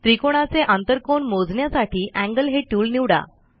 त्रिकाणाचे आंतरकोन मोजण्यासाठी एंगल हे टूल निवडा